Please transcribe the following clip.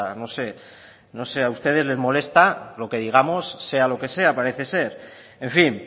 no sé no sé a ustedes les molesta lo que digamos sea lo que sea parece ser en fin